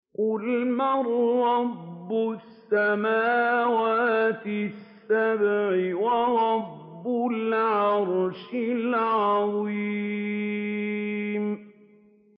قُلْ مَن رَّبُّ السَّمَاوَاتِ السَّبْعِ وَرَبُّ الْعَرْشِ الْعَظِيمِ